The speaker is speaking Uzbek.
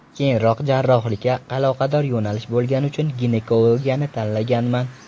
Keyinroq jarrohlikka aloqador yo‘nalish bo‘lgani uchun ginekologiyani tanlaganman.